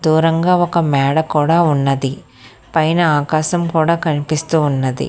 దూరంగా ఒక మేడ కూడా ఉన్నది పైన ఆకాశం కూడా కనిపిస్తూ ఉన్నది.